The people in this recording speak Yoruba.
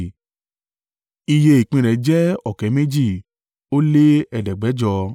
Iye ìpín rẹ̀ jẹ́ ọ̀kẹ́ méjì ó lé ẹ̀ẹ́dẹ́gbẹ̀jọ (41,500).